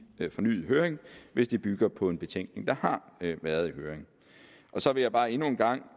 fornyet høring hvis det bygger på en betænkning der har været i høring så vil jeg bare endnu en gang